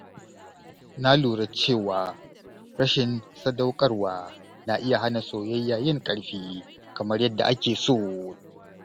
Na lura cewa rashin sadaukarwa na iya hana soyayya yin ƙarfi kamar yadda ake so.